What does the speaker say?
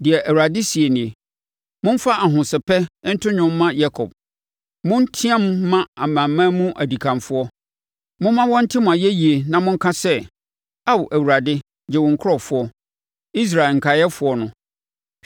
Deɛ Awurade seɛ nie: “Momfa ahosɛpɛ nto nnwom mma Yakob; Monteam mma amanaman mu dikanfoɔ. Momma wɔnte mo ayɛyie na monka sɛ, ‘Ao Awurade gye wo nkurɔfoɔ, Israel nkaeɛfoɔ no.’